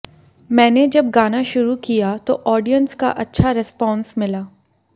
मैंने जब गाना शुरू किया तो ऑडियंस का अच्छा रेस्पॉन्स मिला